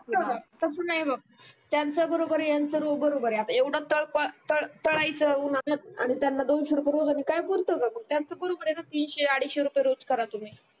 तस नाही बघ त्यांचं बरोबर आहे यांचा रोज बरोबर आहे आता येवळ तडपड करायच उनात आणि त्यांना दोनशे रुपय न काय पुरते ग मग त्यांचं बरोबर तीनशे अडीचशे रुपय रोज करा तुम्ही